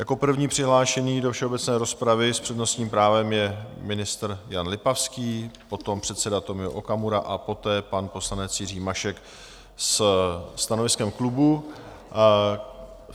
Jako první přihlášený do všeobecné rozpravy s přednostním právem je ministr Jan Lipavský, potom předseda Tomio Okamura a poté pan poslanec Jiří Mašek se stanoviskem klubu.